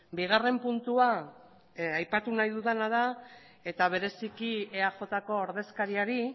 bigarren puntua aipatu nahi dudana da eta bereziki eajko ordezkariari